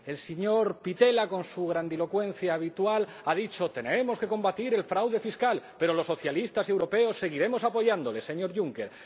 El señor Pittella, con su grandilocuencia habitual, ha dicho Tenemos que combatir el fraude fiscal, pero los socialistas europeos seguiremos apoyándole, señor Juncker.